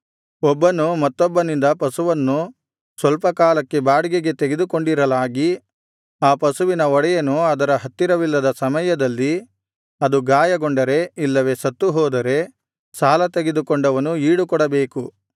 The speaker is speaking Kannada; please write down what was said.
ಒಬ್ಬನು ಮತ್ತೊಬ್ಬನಿಂದ ಪಶುವನ್ನು ಸ್ವಲ್ಪ ಕಾಲಕ್ಕೆ ಬಾಡಿಗೆಗೆ ತೆಗೆದುಕೊಂಡಿರಲಾಗಿ ಆ ಪಶುವಿನ ಒಡೆಯನು ಅದರ ಹತ್ತಿರವಿಲ್ಲದ ಸಮಯದಲ್ಲಿ ಅದು ಗಾಯಗೊಂಡರೆ ಇಲ್ಲವೆ ಸತ್ತುಹೋದರೆ ಸಾಲ ತೆಗೆದುಕೊಂಡವನು ಈಡುಕೊಡಬೇಕು